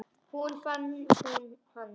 Svo fann hún hann.